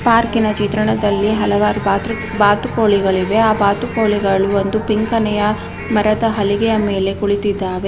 ಪಾರ್ಕ್ಕೀನಾ ಚಿತ್ರಣದಲ್ಲಿ ಹಲವಾರು ಬಾತು ಬಾತುಕೋಳಿಗಳು ಇವೇ ಆ ಬಾತುಕೋಳಿಗಳು ಒಂದು ಪಿಂಕಣೆಯಾ ಮರದ ಹಳಗೆಯ ಮೇಲೆ ಕುಂಳಿತೀದಾವೆ.